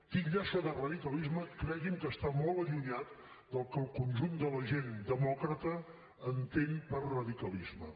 titllar això de radicalisme cregui’m que està molt allunyat del que el conjunt de la gent demòcrata entén per radicalisme